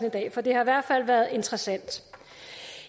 i dag for det har i hvert fald været interessant